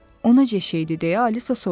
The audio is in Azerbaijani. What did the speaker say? Onu göstər deyə Alisa soruşdu.